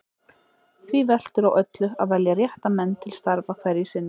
Því veltur á öllu að velja rétta menn til starfa hverju sinni.